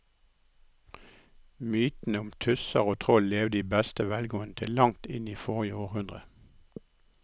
Mytene om tusser og troll levde i beste velgående til langt inn i forrige århundre.